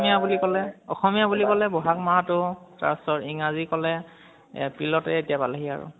অসমী়য়া বুলি ক'লে অসমী়য়া বুলি ক'লে বহাগ মাহটো তাৰপিছত ইংৰাজী কলে april তে এতিয়া পলেহি আৰু